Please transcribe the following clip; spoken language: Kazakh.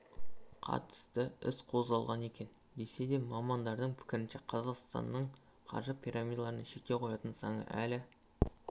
қатысты іс қозғалған екен десе де мамандардың пікірінше қазақстанның қаржы пирамидаларына шектеу қоятын заңы әлі